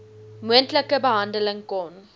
moontlike behandeling kon